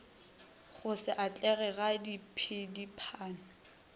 go se atlege ga diphedipano